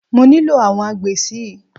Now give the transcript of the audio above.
Mo nílò àwọn agbè si.